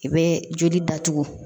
I bɛ joli datugu